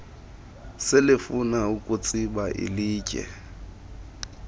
selefuna ukutsiba ilitye